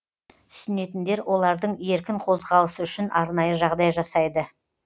түсінетіндер олардың еркін қозғалысы үшін арнайы жағдай жасайды